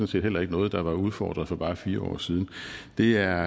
set heller ikke noget der var udfordret for bare fire år siden det er